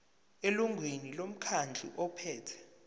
elungwini lomkhandlu ophethe